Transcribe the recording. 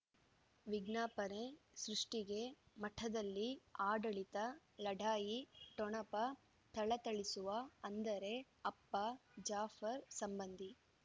ವಿಜ್ಞಾಪನೆ ಸೃಷ್ಟಿಗೆ ಮಠದಲ್ಲಿ ಆಡಳಿತ ಲಢಾಯಿ ಠೊಣಪ ಥಳಥಳಿಸುವ ಅಂದರೆ ಅಪ್ಪ ಜಾಫರ್ ಸಂಬಂಧಿ